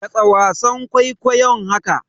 Katse wasan kwaikwayon haka!